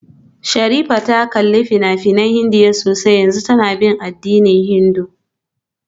Sherifat ta kalli fina-finan Indiya sosai a yanzu tana bin addinin Hindu